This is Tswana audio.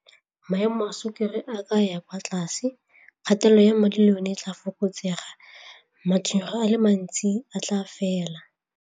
Maemo a sukiri a ka ya kwa tlase, kgatelelo ya madi le yone tla fokotsega, matshwenyego a le mantsi a tla fela.